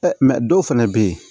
dɔw fɛnɛ bɛ ye